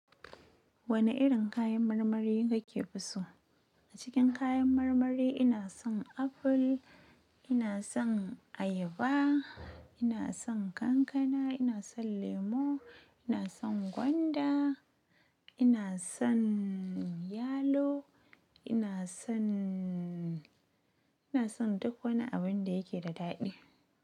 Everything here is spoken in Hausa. Wane irin kayan marmari kake so? A cikin kayan marmari ina son aful, ina son ayaba, ina son kankana, ina son lemo, ina son gwanda, ina son yalo, ina son, ina son duk wani abin da yake da daɗi.